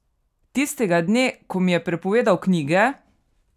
Tistega dne, ko mi je prepovedal knjige?